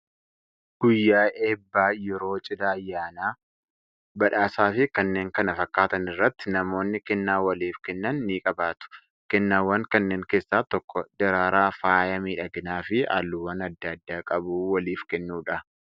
Guyyaa eebbaa, yeroo cidhaa, ayyaanaa, badhaasaa fi kanneen kana fakkaatan irratti namoonni kennaa waliif kennan ni qabaatu. Kennaawwan kanneen keessaa tokko daraaraa faaya miidhaginaa fi halluuwwan adda addaa qabu waliif kennuudha.